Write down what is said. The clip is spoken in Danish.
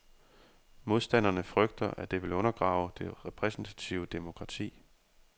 Modstanderne frygter, at det vil undergrave det repræsentative demokrati.